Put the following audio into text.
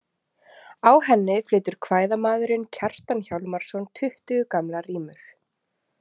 Á henni flytur kvæðamaðurinn Kjartan Hjálmarsson tuttugu gamlar rímur.